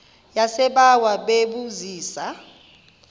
yasebawa bebu zisa